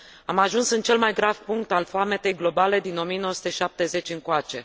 Am ajuns în cel mai grav punct al foametei globale din 1970 încoace.